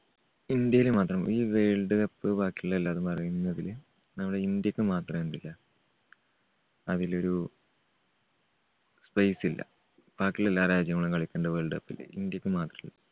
ഇന്ത്യയില് മാത്രം ഈ വേൾഡ് കപ്പ് ബാക്കിയുള്ള എല്ലാവരും പറയുന്നതില് നമ്മുടെ ഇന്ത്യക്ക് മാത്രം എന്തില്ല അതില് ഒരു space ഇല്ല. ബാക്കിയുള്ള എല്ലാ രാജ്യങ്ങളും കളിക്കുന്നുണ്ട് വേൾഡ് കപ്പില്. ഇന്ത്യക്ക് മാത്രം